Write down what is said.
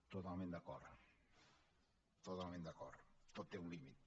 totalment d’acord totalment d’acord tot té un límit